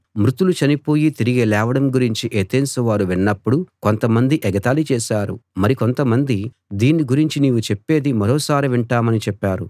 మృతులు చనిపోయి తిరిగి లేవడం గురించి ఎతెన్సు వారు విన్నప్పుడు కొంతమంది ఎగతాళి చేశారు మరి కొంతమంది దీన్ని గురించి నీవు చెప్పేది మరొకసారి వింటామని చెప్పారు